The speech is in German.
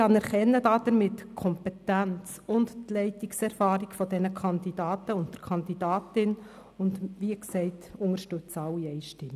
Wir erkennen damit die Kompetenz und die Leitungserfahrung der Kandidaten und der Kandidatin und unterstützen sie, wie gesagt, einstimmig.